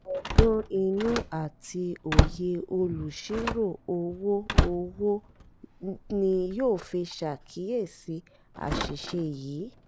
ọgbọ́n inú àti òye olùsírò-owó owó ni yóò fi ṣàkíyèsí àṣìṣe yìí